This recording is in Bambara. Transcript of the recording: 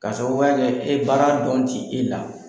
K'a sababuya kɛ ni baara dɔn ti e la.